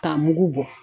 K'a mugu bɔ